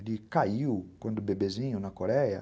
Ele caiu quando bebezinho, na Coreia.